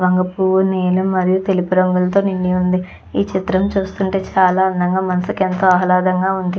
వంగ పూవు నీలం మరియు తెలుపు రంగులతో నిండి వుంది. ఈ చిత్రం చూస్తే చాలా అందంగా మనసుకి ఎంతో ఆహ్లాదంగ ఉంది.